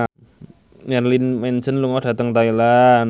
Marilyn Manson lunga dhateng Thailand